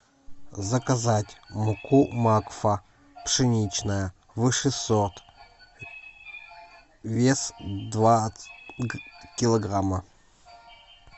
заказать муку макфа пшеничная высший сорт вес два килограмма